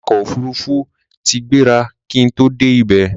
awakọ̀ òfurufú tí gbéra kí n tó dé ibẹ̀